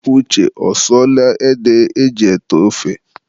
Uche ọsụọla ede e ji ete ofe?